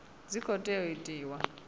tshi khou tea u itiwa